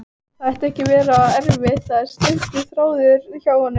Það ætti ekki að vera erfitt, það er stuttur þráðurinn hjá honum.